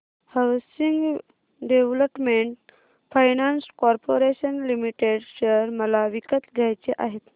housing development finance corporation limited share मला विकत घ्यायचे आहेत